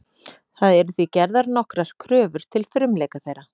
Það eru því gerðar nokkrar kröfur til frumleika þeirra.